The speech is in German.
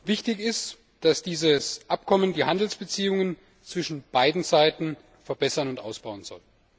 Wichtig ist, dass dieses Abkommen die Handelsbeziehungen zwischen beiden Seiten verbessern und ausbauen soll.